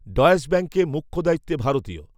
Deutsche ব্যাঙ্কে, মুখ্য দায়িত্বে, ভারতীয়